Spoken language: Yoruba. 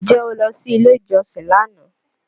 Ǹjẹ́ o lọ sí ilé ìjọsìn lánàá